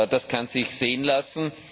Das kann sich sehen lassen!